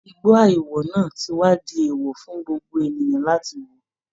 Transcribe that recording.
Igbó àìwọ̀ náà ti wá di èèwọ̀ fún gbogbo ènìyàn láti wọ̀